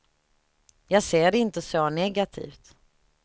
Jag ser det inte så negativt.